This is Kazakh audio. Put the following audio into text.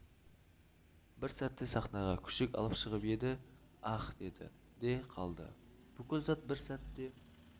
бір сәтте сахнаға күшік алып шығып еді аһ деді де қалды бүкіл зал бір сәтте